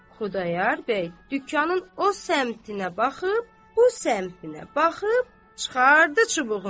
Xudayar bəy dükanın o səmtinə baxıb, bu səmtinə baxıb, çıxartdı çubuğunu.